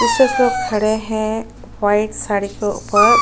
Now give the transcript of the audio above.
लोग खड़े है वाइट साड़ी के उपर--